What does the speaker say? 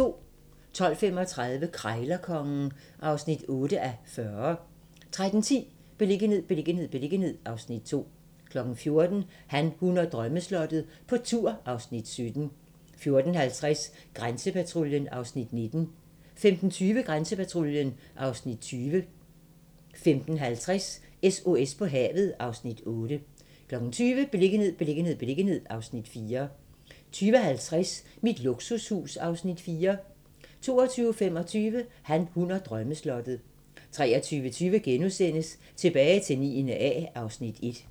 12:35: Krejlerkongen (8:40) 13:10: Beliggenhed, beliggenhed, beliggenhed (Afs. 2) 14:00: Han, hun og drømmeslottet - på tur (Afs. 17) 14:50: Grænsepatruljen (Afs. 19) 15:20: Grænsepatruljen (Afs. 20) 15:50: SOS på havet (Afs. 8) 20:00: Beliggenhed, beliggenhed, beliggenhed (Afs. 4) 20:50: Mit luksushus (Afs. 4) 22:25: Han, hun og drømmeslottet 23:20: Tilbage til 9. A (Afs. 1)*